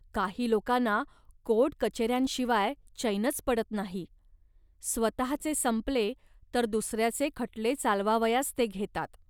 काही लोकांना कोर्टकचेऱ्यांशिवाय चैनच पडत नाही. स्वतःचे संपले, तर दुसऱ्याचे खटले चालवावयास ते घेतात